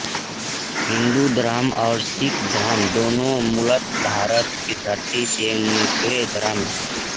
हिन्दू धर्म और सिख धर्म दोनों मूलतः भारत की धरती से निकले धर्म हैं